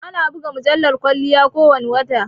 Ana buga mujallar kwalliya ko wane wata